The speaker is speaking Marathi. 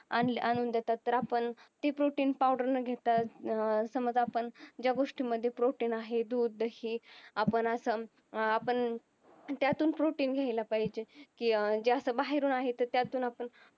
आणून देतात तर आपण ती protein powder न घेता अह समज आपण ज्या गोष्टी मध्ये protein आहे दूध दही आपण असं अं आपण त्यातून protein घ्यायला पाहिजे की जे असं बाहेरून आहे तर त्यातून आपण